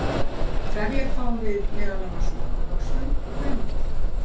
trefjar fáum við meðal annars úr ávöxtum og grænmeti